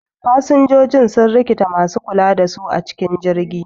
Fasinjoji sun rikita masu kula da su a cikin jirgi